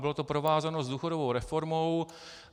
Bylo to provázáno s důchodovou reformou.